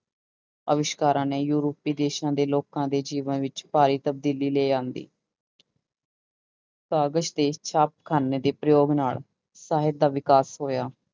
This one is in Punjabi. ਆਵਿਸ਼ਕਾਰਾਂ ਨੇ ਯੂਰਪੀ ਦੇਸਾਂ ਦੇ ਲੋਕਾਂ ਦੇ ਜੀਵਨ ਵਿੱਚ ਭਾਰੀ ਤਬਦੀਲੀ ਲੈ ਆਉਂਦੀ ਕਾਗਜ਼ ਦੇ ਛਾਪੇਖਾਨੇ ਦੇ ਪ੍ਰਯੋਗ ਨਾਲ ਸਾਹਿਤ ਦਾ ਵਿਕਾਸ ਹੋਇਆ।